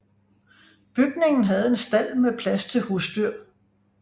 Bygningen havde en stald med plads til husdyr